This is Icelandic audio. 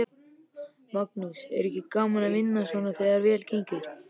Magnús: Er ekki gaman að vinna svona þegar vel gengur?